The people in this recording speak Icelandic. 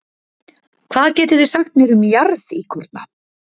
Hvað getið þið sagt mér um jarðíkorna?